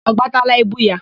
Ọ gbataala ibu ya?